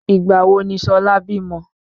Ìgbà wo ni Ṣọlá bímọ?